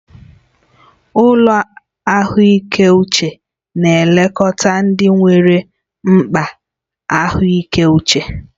Ụlọ ahụike uche na-elekọta ndị nwere mkpa ahụike uche.